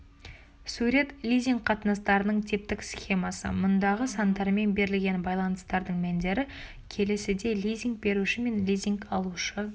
сурет лизинг қатынастарының типтік схемасы мұндағы сандармен берілген байланыстардың мәндері келесідей лизинг беруші мен лизинг алушы